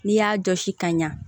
N'i y'a jɔsi ka ɲa